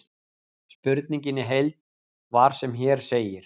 Spurningin í heild var sem hér segir: